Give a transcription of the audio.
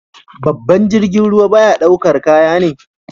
Babban jirgin ruwa na daukar kaya ne.